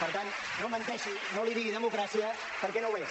per tant no menteixi no en digui democràcia perquè no ho és